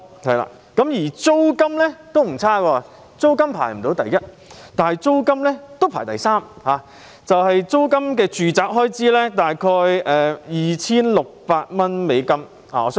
租金方面，雖然香港並非位居首位，但也排第三位，每月的住宅租金開支約 2,600 美元。